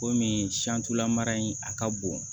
Komi lamara in a ka bon